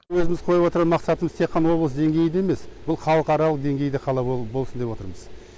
өзіміз қойып отырған мақсатымыз тек қана облыс деңгейінде емес бұл халықаралық деңгейде қала болсын деп отырмыз